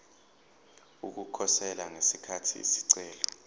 ukukhosela ngesikhathi isicelo